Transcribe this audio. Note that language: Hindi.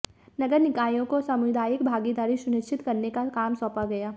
नगर निकायों को सामुदायिक भागीदारी सुनिश्चित करने का काम सौंपा गया